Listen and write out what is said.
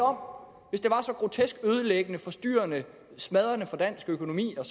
om hvis det var så grotesk ødelæggende forstyrrende og smadrende for dansk økonomi og